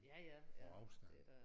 På afstand